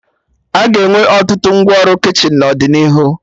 Aga enwe ọtụtụ ngwa ọrụ kichin n'ọdịnihu